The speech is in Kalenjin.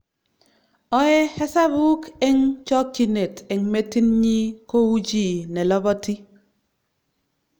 Oei hesabuk eng chokchinet eng metitnyi kou chi neloboti